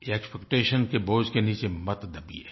ये एक्सपेक्टेशन के बोझ के नीचे मत दबिये